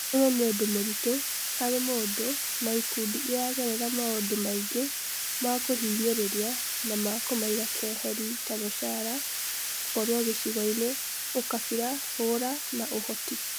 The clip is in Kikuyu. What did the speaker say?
ũyũ nĩ ũndũ mũritũ harĩ mũndũ na ikundi iragerera maũndũ maingĩ ma kũhinyĩrĩria na ma kũmaiga keheri ta mũcara, gũkorwo gĩcigoinĩ, ũkabira, hũra, na ũhoti.